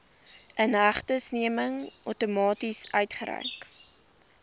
inhegtenisneming outomaties uitgereik